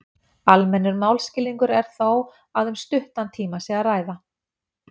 Almennur málskilningur er þó að um stuttan tíma sé að ræða.